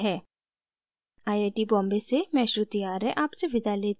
I I T Bombay से मैं श्रुति आर्य आपसे विदा लेती हूँ